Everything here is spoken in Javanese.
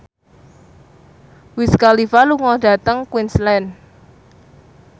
Wiz Khalifa lunga dhateng Queensland